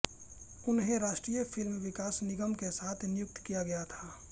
उन्हें राष्ट्रीय फिल्म विकास निगम के साथ नियुक्त किया गया था